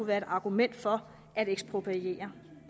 være et argument for at ekspropriere